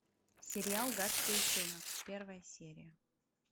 сериал гадкий утенок первая серия